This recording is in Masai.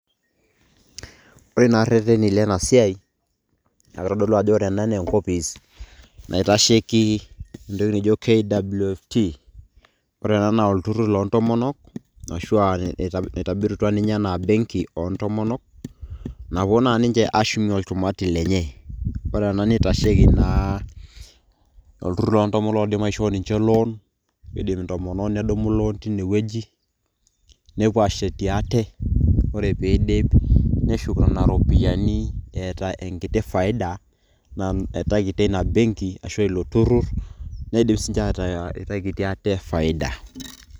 Ore naa irrerreni lenasiai, na kitodolu ajo ore ena na enkopis naitasheki entoki naijo KWT,ore ena na olturrur loontomonok, ashua itobirutua ninche enaa benki ontomonok, napuo na ninche ashumie olchumati lenye. Ore ena nitasheki naa, olturrur loontomonok oidim aishoo ninche loan ,etii ntomonok nedumu loan teinewueji, nepuo ashetie ate. Ore piidip, neshuk nena ropiyaiani eeta enkiti faida, naitakitia ina benki arashu ilo turrur, netum sinche ataa eitakitia ate faida.